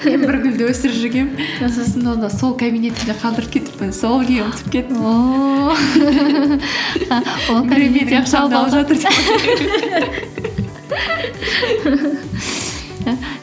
мен бір гүлді өсіріп жүргенмін аха сосын ол да сол кабинетімде қалдырып кетіппін сол күйі ұмытып кеттім ооо